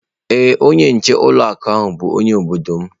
Ee onye nchekwa ụlọ akụ bụ onye obodo m.